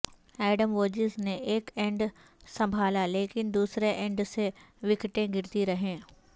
Adam Voges نے ایک end سنبھالا لیکن دوسرے اینڈ سے وکٹیں گرتی رہیں